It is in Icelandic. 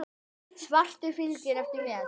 Svartur fylgir eftir með.